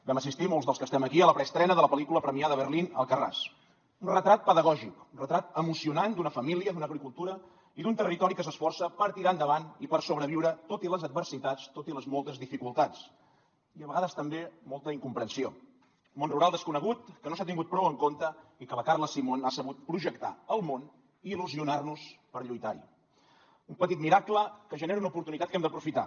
vam assistir molts dels que estem aquí a la preestrena de la pel·lícula premiada a berlín alcarràs un retrat pedagògic un retrat emocionant d’una família d’una agricultura i d’un territori que s’esforça per tirar endavant i per sobreviure tot i les adversitats tot i les moltes dificultats i a vegades també molta incomprensió món rural desconegut que no s’ha tingut prou en compte i que la carla simón ha sabut projectar al món i il·lusionar nos per lluitar hi un petit miracle que genera una oportunitat que hem d’aprofitar